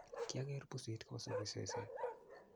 kiageer pusit kosupii sesee